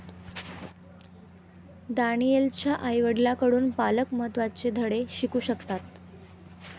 दानीएलच्या आईवडिलांकडून पालक महत्त्वाचे धडे शिकू शकतात.